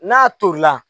N'a tolila